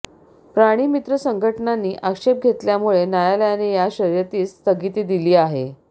प्राणीमित्र संघटनांनी आक्षेप घेतल्यामुळे न्यायालयाने या शर्यतीस स्थगिती दिली आहे